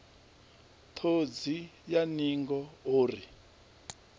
ṱhodzi ya ningo o ri